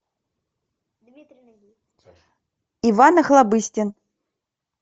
иван охлобыстин